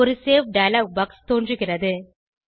ஒரு save dialog box தோன்றுகிறது